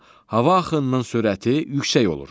Hava axınının sürəti yüksək olur.